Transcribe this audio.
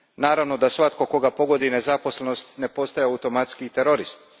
Naravno da svatko koga pogodi nezaposlenost ne postaje automatski i terorist.